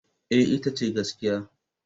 Eh, ita ce gaskiya.